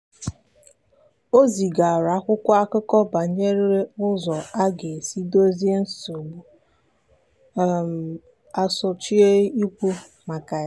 o zigara akwụkwọ akụkọ banyere ụzọ a ga-esi dozie nsogbu um a sochie ikwu maka ya.